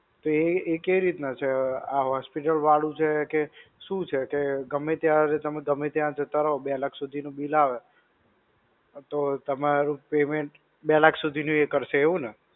તો એ એ કેવી રીતના છે, આ hospital વાળું છે કે, શું છે કે ગમે ત્યાં તમે ગમે ત્યાં જતા રહો ને બે લાખ સુધી નું bill આવે તો તમારું payment બે લાખ સુધી નું એ કરશે એવું ને?